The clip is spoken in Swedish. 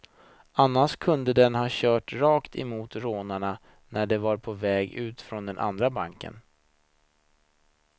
Annars kunde den ha kört rakt mot rånarna när de var på väg ut från den andra banken.